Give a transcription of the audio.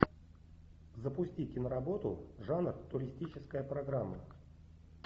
запусти киноработу жанр туристическая программа